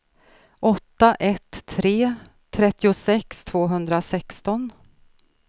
åtta ett tre tre trettiosex tvåhundrasexton